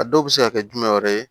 A dɔw bɛ se ka kɛ jumɛn wɛrɛ ye